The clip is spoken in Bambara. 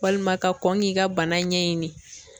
Walima ka kɔn k'i ka bana ɲɛɲini.